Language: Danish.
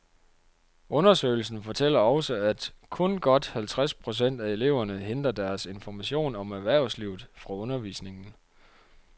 Undersøgelsen fortæller også, at kun godt halvtreds procent af eleverne henter deres information om erhvervslivet fra undervisningen.